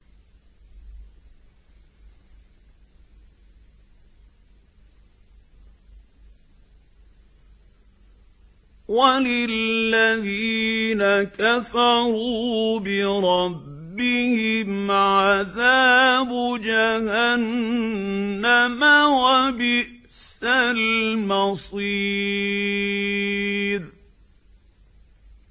وَلِلَّذِينَ كَفَرُوا بِرَبِّهِمْ عَذَابُ جَهَنَّمَ ۖ وَبِئْسَ الْمَصِيرُ